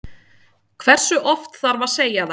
Hversu oft þarf að segja það?